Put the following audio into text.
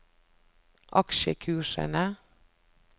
aksjekursene